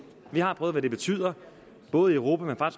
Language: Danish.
vi har prøvet hvad det betyder i både europa og